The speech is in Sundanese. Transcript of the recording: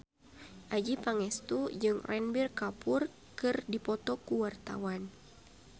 Adjie Pangestu jeung Ranbir Kapoor keur dipoto ku wartawan